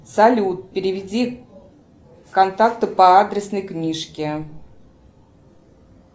салют переведи контакту по адресной книжке